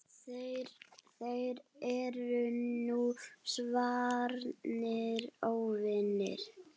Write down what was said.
Þeir eru nú svarnir óvinir.